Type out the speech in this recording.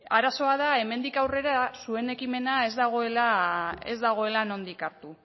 arazoa da hemendik aurrera zuen ekimena ez dagoela nondik hartu